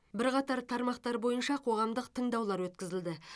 бірқатар тармақтар бойынша қоғамдық тыңдаулар өткізілді